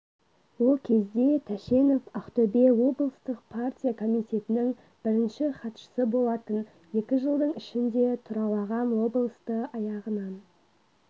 ол кезде тәшенов ақтөбе облыстық партия комитетінің бірінші хатшысы болатын екі жылдың ішінде тұралаған облысты аяғынан